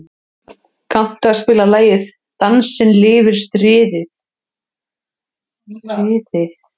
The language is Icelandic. Húnn, kanntu að spila lagið „Dansinn lifir stritið“?